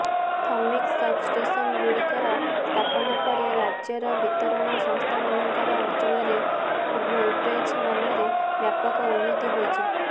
ଥମିକ ସବଷ୍ଟେସନଗୁଡ଼ିକର ସ୍ଥାପନା ପରେ ରାଜ୍ୟର ବିତରଣ ସଂସ୍ଥାମାନଙ୍କର ଅଞ୍ଚଳରେ ଭୋଲଟେଜ୍ର ମାନରେ ବ୍ୟାପକ ଉନ୍ନତି ହୋଇଛି